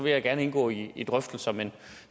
jeg gerne indgå i i drøftelser men